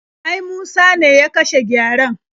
Ai Musa ne ya kashe gyaren.